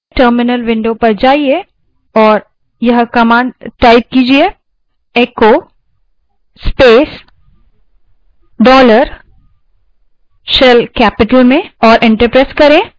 terminal window पर जाइये और यह command type कीजिये echo space dollar shell capital में और enter press करें